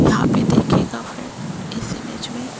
यहां पे देखिएगा फ्रेंड इस इमेज में--